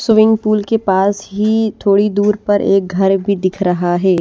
Swimming pool के पास ही थोड़ी दूर पर एक घर भी दिख रहा है।